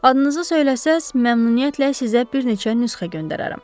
Adınızı söyləsəniz, məmnuniyyətlə sizə bir neçə nüsxə göndərərəm.